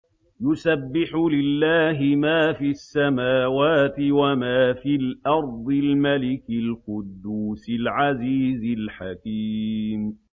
يُسَبِّحُ لِلَّهِ مَا فِي السَّمَاوَاتِ وَمَا فِي الْأَرْضِ الْمَلِكِ الْقُدُّوسِ الْعَزِيزِ الْحَكِيمِ